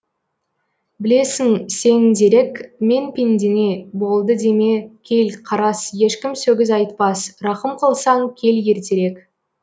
білесің сен зерек мен пендеңе болды деме кел қарас ешкім сөгіс айтпас рақым қылсаң кел ертерек